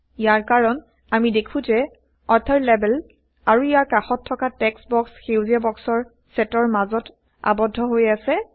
ইয়াৰ কাৰণ আমি দেখো160যে অথৰ লেবেল আৰু ইয়াৰ কাষত থকা টেক্সট বক্স সেউজীয়া160বক্সৰ চেটৰ মাজত আৱদ্ধ হৈ আছে